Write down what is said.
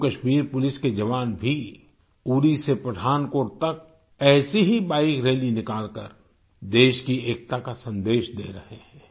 Jammu Kashmir police के जवान भी उरी से पठानकोट तक ऐसी ही बाइक रैली निकालकर देश की एकता का संदेश दे रहे हैं